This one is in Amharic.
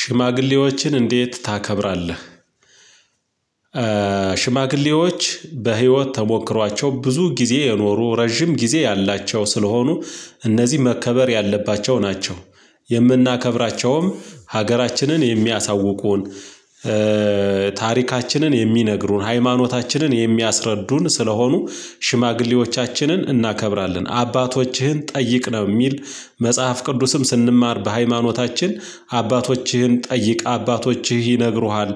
ሽማግሌዎችን እንዴት ታከብራለህ? ሽማግሌዎች በህይወት ተሞክሯቸው ብዙ ጊዜ የኖሩ ረጅም ጊዜ ያላቸው ስለሆኑ እነዚህ መከበር ያለባቸው ናቸው፤ የምናከብራቸውም ሀገራችንን የሚያሳውቁን፣ ታሪካችንን የሚነግሩን፣ ሃይማኖታችንን የሚያስረዱን ስለሆኑ ሽማግሌዎቻችንን እናከብራለን፤ አባቶችህን ጠይቅ ነው የሚል መጽሐፍ ቅዱስም ስንማር በሃይማኖታችን አባቶችህን ጠይቅ አባቶችህ ይነግሩሃል